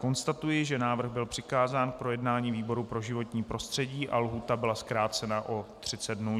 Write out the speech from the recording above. Konstatuji, že návrh byl přikázán k projednání výboru pro životní prostředí a lhůta byla zkrácena o 30 dnů.